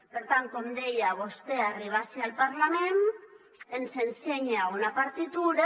per tant com deia vostè arriba ací al parlament ens ensenya una partitura